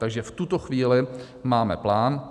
Takže v tuto chvíli máme plán.